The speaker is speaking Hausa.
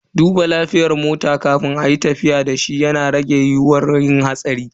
Duba lafiyar mota kafin ayi tafiya dashi yana rage yiyuwar yin hatsari.